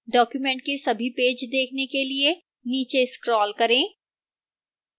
document के सभी page देखने के लिए नीचे scroll करें